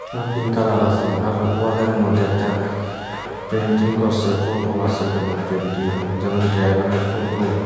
আর pink colour আছে আর ওয়ালের মধ্যে একটা প্রিন্টিং করছে ফোটো আছে এখানেও প্রিন্টিং যেমন- ড্রেগনের ফটো ।